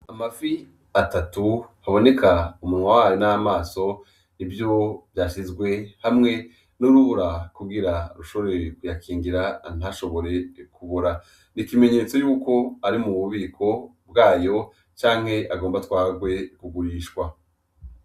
Amafi atatu aboneka umunwa wayo n'amaso, nivyo vyasizwe hamwe n'urubura kugira rushobore kuyakingira ntashobore kubora. Ni ikimenyetso cuko ari mu bubiko bwayo canke agomba atwarwe kugurishwa.